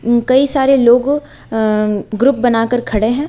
कई सारे लोग अ ग्रुप बनाकर खड़े हैं।